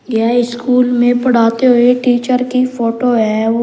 यह स्कूल में पढ़ाते हुए टीचर की फोटो है वो--